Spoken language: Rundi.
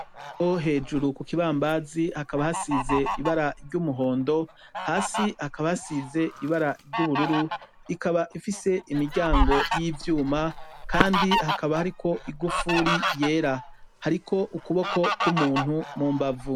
Mwo hejuru kukibambazi hakaba hasize ibara ry'umuhondo hasi hakaba hasize ibara ry'ubururu ikaba ifise imiryango y'ivyuma kandi hakaba hariko igufuri yera, hariko ukuboko kw'umuntu mumbavu.